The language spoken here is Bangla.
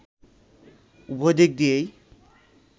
উভয় দিক দিয়েই